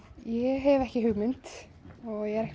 ég hef ekki hugmynd og ég er